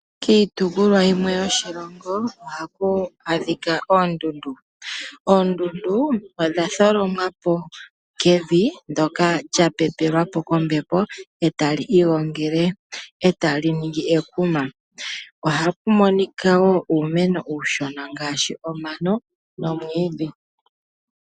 Kiitopolwa yimwe yoshilongo ohaku adhika oondundu, oondundu odha tholomwapo Kevi ndoka lya pepelwapo kombepo ita li igongele ita li ningi ekuma, ohapo adhika woo uumeno uushona ngaashi omano nomwiidhi.